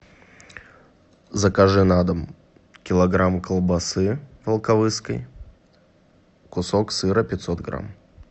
закажи на дом килограмм колбасы волковысской кусок сыра пятьсот грамм